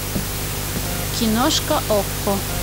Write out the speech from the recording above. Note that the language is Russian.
киношка окко